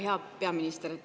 Hea peaminister!